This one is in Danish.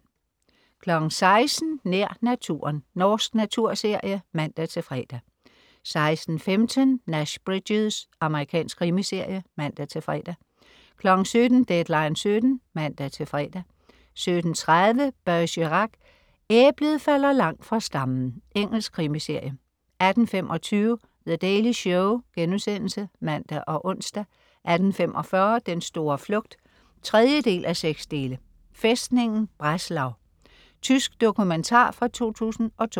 16.00 Nær naturen. Norsk naturserie (man-fre) 16.15 Nash Bridges. Amerikansk krimiserie (man-fre) 17.00 Deadline 17:00 (man-fre) 17.30 Bergerac: Æblet falder langt fra stammen. Engelsk krimiserie 18.25 The Daily Show* (man og ons) 18.45 Den store flugt 3:6. Fæstningen Breslau. Tysk dokumentar fra 2002